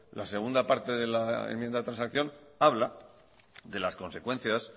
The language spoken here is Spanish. la segunda parte de la enmienda de transacción habla de las consecuencias